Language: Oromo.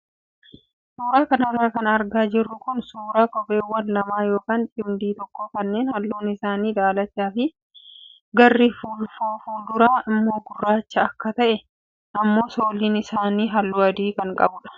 Suuraa kanarra kan argaa jirru kun suuraa kopheewwan lamaa yookaan cimdii tokko kanneen halluun isaanii daalachaa fi garri fuulfuraa immoo gurraacha ta'e akkasuma immoo sooliin isaanii halluu adi ta'e qabudha.